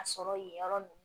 A sɔrɔ yen yɔrɔ ninnu